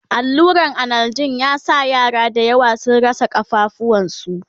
alluran analjin ya sa yara da yawa sun rasa kafafuwan su